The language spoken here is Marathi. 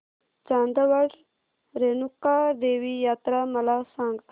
चांदवड रेणुका देवी यात्रा मला सांग